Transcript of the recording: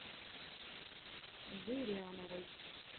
зыряновой